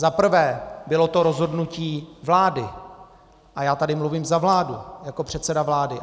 Za prvé, bylo to rozhodnutí vlády, a já tady mluvím za vládu jako předseda vlády.